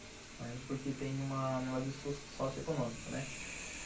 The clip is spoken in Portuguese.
Não entra porque tem um negócio sócio-econômico, né?